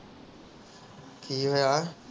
ਕਿ ਹੋਇਆ